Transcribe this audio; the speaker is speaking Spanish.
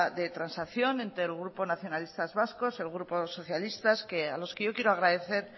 de transacción entre el grupo nacionalistas vascos el grupo socialista a los que yo quiero agradecer